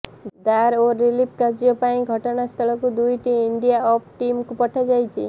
ଦ୍ଧାର ଓ ରିଲିଫ୍ କାର୍ଯ୍ୟ ପାଇଁ ଘଟଣାସ୍ଥଳକୁ ଦୁଇଟି ଏନ୍ଡିଆର୍ଏଫ୍ ଟିମ୍କୁ ପଠାଯାଇଛି